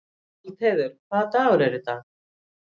Valdheiður, hvaða dagur er í dag?